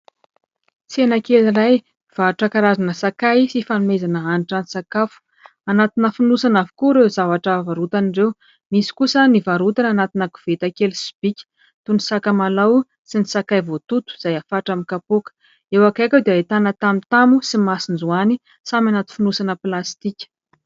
senakely iray vahatrakarazina sakay sy fanomezana anitra ny sakafo anatina finosana avokoa ireo zavatra varotana ireo misy kosa ny varotany anatina kovetakely sibika toy ny saka-malao sy ny sakay voatoto izay hafatra ami'y kapoaka eo ankaika dia etana tamin'ny tamo sy masin joany samy anaty finosana mpilastika